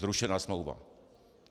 Zrušená smlouva.